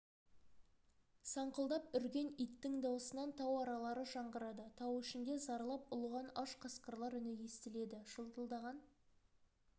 саңқылдап үрген иттің даусынан тау аралары жаңғырығады тау ішінде зарлап ұлыған аш қасқырлар үні естіледі жылтылдаған